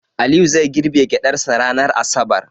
Aliyu zai girbe gyaɗarsa ranar asabar.